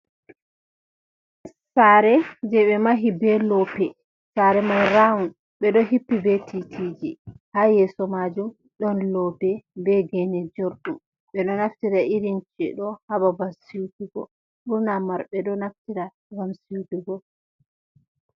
Sare je ɓe mahi be loope, sare mai ra un, ɓe ɗo hippi be titiji, ha yeso majum ɗon loope be gene jorɗum, ɓe ɗo naftira irinci ɗo ha babal sutugo, ɓurna mauɓe ɗo naftira ngam sutugo.